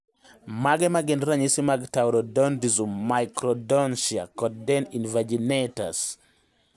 Mage magin ranyisi mag Taurodontism, microdontia, kod dens invaginatus?